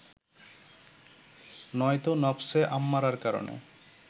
নয়তো নফসে আম্মারার কারণে